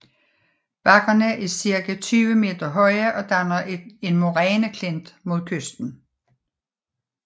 Bakkerne er cirka 20 meter høje og danner en moræneklint mod kysten